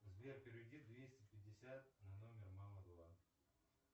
сбер переведи двести пятьдесят на номер мама два